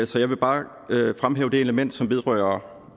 så jeg vil bare fremhæve det element som vedrører